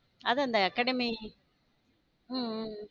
அது அந்த academy உம் உம்